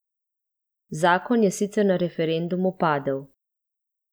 Zakon je sicer na referendumu padel.